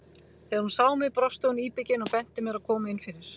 Þegar hún sá mig brosti hún íbyggin og benti mér að koma inn fyrir.